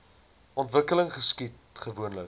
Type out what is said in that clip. ontwikkeling geskied gewoonlik